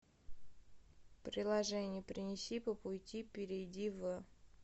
приложение принеси по пути перейди в